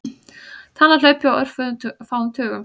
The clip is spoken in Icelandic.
Talan hlaupi á örfáum tugum.